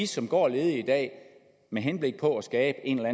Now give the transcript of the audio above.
som går ledige i dag med henblik på at skabe en eller